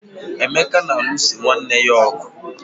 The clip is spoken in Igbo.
emeka na-alụso nwanne ya ọgụ